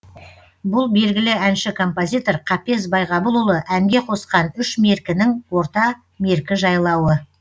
бұл белгілі әнші композитор қапез байғабылұлы әнге қосқан үш меркінің орта меркі жайлауы